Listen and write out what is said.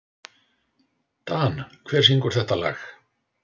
Dan, hver syngur þetta lag?